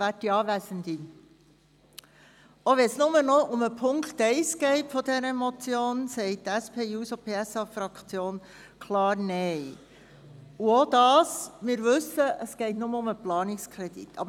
Auch wenn es nur noch um den Punkt 1 dieser Motion geht, sagt die SP-JUSO-PSA-Fraktion klar Nein – auch wenn wir wissen, dass es nur um den Planungskredit geht.